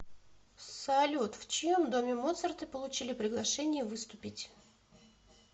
салют в чьем доме моцарты получили приглашение выступить